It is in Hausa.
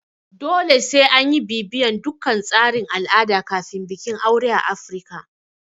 Dole sai anyi bibiyan dukkan tsarin al'ada kafin bikin aure a Afirika